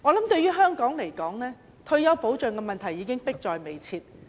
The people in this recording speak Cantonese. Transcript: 對於香港來說，退休保障問題已經迫在眉睫。